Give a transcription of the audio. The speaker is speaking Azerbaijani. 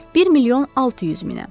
Bir milyon 600 minə.